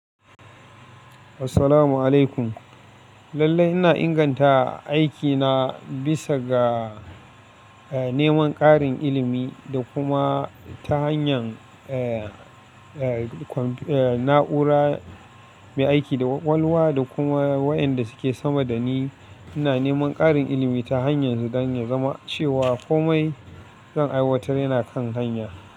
Assalamu alaikum. Lallai ina inganta aikina bisa ga, eh, neman ƙarin ilimi, da kuma ta hanyar, na'ura mai aiki da kwakwalwa, da kuma wayanda suke sama da ni. Ina neman ƙarin ilimi ta hanyar ne, don ya zama cewa komai zan aiwatar yana kan hanya.